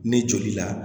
Ni joli la